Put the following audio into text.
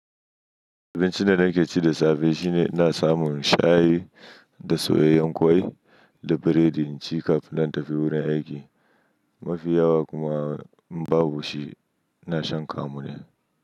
Abincin da nake ci da safe shine ina samun shayi da soyayyen ƙwai da burodi, in ci kafin nan in tafi wurin aiki. Mafi yawa kuma in babu shi ina shan kamu ne.